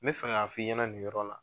N bɛ fɛ k' fɔ i ɲɛna ninyɔrɔ la.